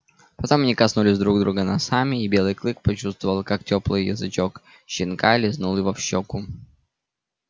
потом они коснулись друг друга носами и белый клык почувствовал как тёплый язычок щенка лизнул его в щёку